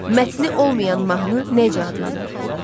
Mətni olmayan mahnı necə adlanır?